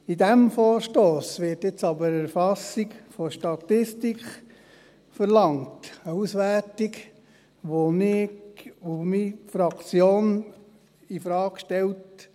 In diesem Vorstoss wird jetzt aber die Erfassung für eine Statistik verlangt, eine Auswertung, die ich und meine Fraktion infrage stellen.